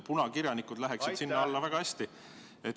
Punakirjanikud läheks sinna alla väga hästi.